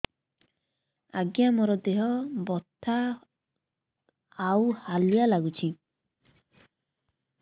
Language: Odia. ଆଜ୍ଞା ମୋର ଦେହ ବଥା ଆଉ ହାଲିଆ ଲାଗୁଚି